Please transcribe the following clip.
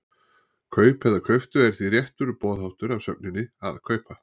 Kaup eða kauptu er því réttur boðháttur af sögninni að kaupa.